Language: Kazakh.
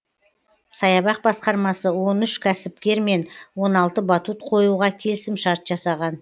саябақ басқармасы он үш кәсіпкермен он алты батут қоюға келісімшарт жасаған